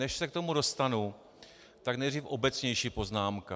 Než se k tomu dostanu, tak nejdříve obecnější poznámka.